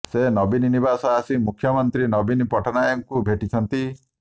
ସେ ନବୀନ ନିବାସ ଆସି ମୁଖ୍ୟମନ୍ତ୍ରୀ ନବୀନ ପଟ୍ଟନାୟକଙ୍କୁ ଭେଟିଛନ୍ତି